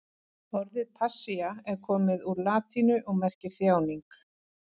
Orðið passía er komið úr latínu og merkir þjáning.